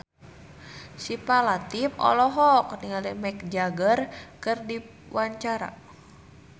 Syifa Latief olohok ningali Mick Jagger keur diwawancara